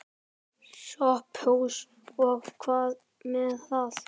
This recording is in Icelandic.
SOPHUS: Og hvað með það?